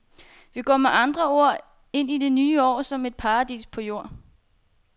Vi går med andre ord ind i det nye år som et paradis på jord.